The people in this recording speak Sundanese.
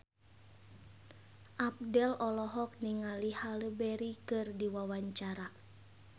Abdel olohok ningali Halle Berry keur diwawancara